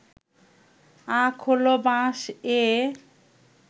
আখ হল বাঁশএ